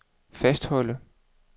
fastholde